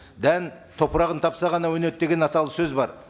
дән топырағын тапса ғана өнеді деген аталы сөз бар